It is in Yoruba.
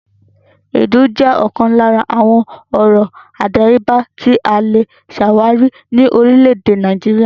Èédú jẹ́ ọ̀kan lára àwọn ọrọ̀ àdáyébà tí a le ṣàwárí ní orílẹ̀-èdè Nàìjíríà.